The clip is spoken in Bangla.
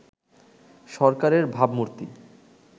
সরকারের ভাবমূর্তি